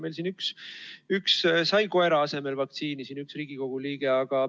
Meil siin üks Riigikogu liige sai koera asemel vaktsiini.